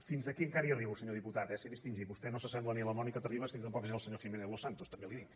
fins aquí encara hi arribo senyor diputat eh sé distingir vostè no s’assembla ni a la mònica terribas ni tampoc és el senyor jiménez losantos també li ho dic